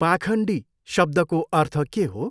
पाखण्डी शब्दको अर्थ के हो?